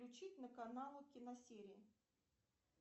включить на канал киносерии